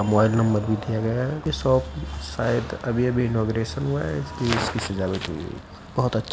Mobile number भी दिया गया है। ये शॉप शायद अभी अभी इनौगरेशन हुआ है। इसलिए इसकी सजावट हुई है। बोहोत अच्छा --